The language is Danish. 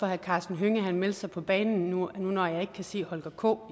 herre karsten hønge meldte sig på banen nu når jeg ikke kan se holger k